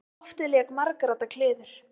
Um loftið lék margradda kliður.